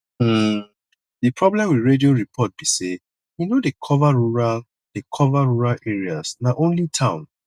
um di problem with radio report be sey e no dey cover rural dey cover rural areas na only town